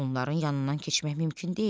Onların yanından keçmək mümkün deyil.